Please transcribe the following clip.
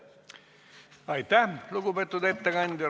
Aitäh, lugupeetud ettekandja!